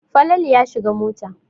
Falalu ya shiga mota.